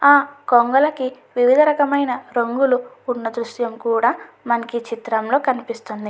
ఆ కొంగలకి వివిధ రకమైన రంగులు ఉన్న దృశ్యం కూడా మనకు ఈ చిత్రం లో కనిపిస్తుంది.